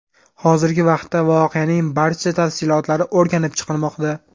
Hozirgi vaqtda voqeaning barcha tafsilotlari o‘rganib chiqilmoqda.